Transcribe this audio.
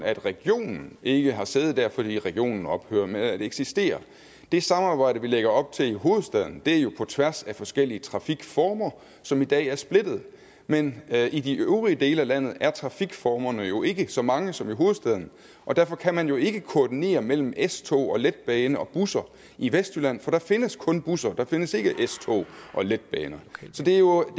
at regionen ikke har sæde der fordi regionen ophører med at eksistere det samarbejde vi lægger op til i hovedstaden er jo på tværs af forskellige trafikformer som i dag er splittet men i de øvrige dele af landet er trafikformerne jo ikke så mange som i hovedstaden og derfor kan man jo ikke koordinere mellem s tog og letbane og busser i vestjylland for der findes kun busser der findes ikke s tog og letbaner så det er jo et